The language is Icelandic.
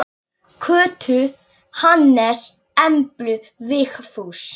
Kötu, Hannes, Emblu, Vigfús.